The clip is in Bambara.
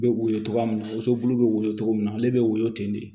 Bɛ woyo togoya min na woson bulu bɛ woyo cogo min na ale bɛ woyo ten de